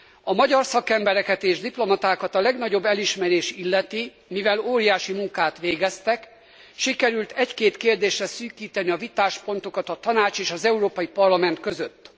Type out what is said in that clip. A magyar szakembereket és diplomatákat a legnagyobb elismerés illeti, mivel óriási munkát végeztek, sikerült egy két kérdésre szűkíteni a Tanács és az Európai Parlament között.